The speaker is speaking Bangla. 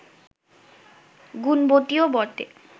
গুণবতীও বটে